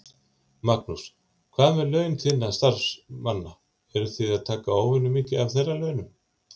Magnús: Hvað með laun þinna starfsmanna, eruð þið að taka óvenjumikið af þeirra launum?